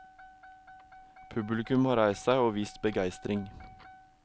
Publikum har reist seg og vist begeistring.